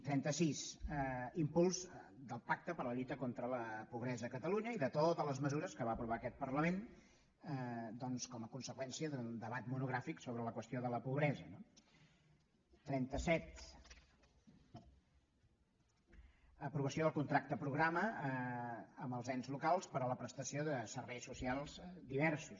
trenta sis impuls del pacte per la lluita contra la pobresa a catalunya i de totes les mesures que va aprovar aquest parlament com a conseqüència del debat monogràfic sobre la qüestió de la pobresa no trenta set aprovació del contracte programa amb els ens locals per a la prestació de serveis socials diversos